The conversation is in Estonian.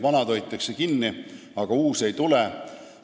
Vanad hoitakse küll kinni, aga uusi juurde ei tule.